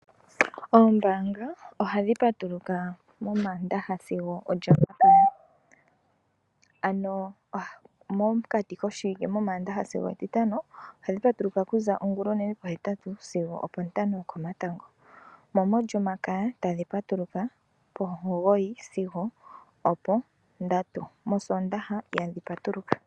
Oombanga ohadhi patuluka momandaha sigo omo lyomakaya ano mokati moshiwike momandaha sigo etitano ohadhi patuluka okuza ongulonene po hetatu sigo opo tano yokomatango, mo molyomakaya tadhi patuluka pomugoyi sigo opo ndatu mosondaha ihadhi patuluka.